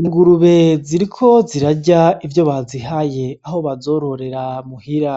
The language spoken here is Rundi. Ingurube ziriko zirarya ivyo bazihaye aho bazororera muhira,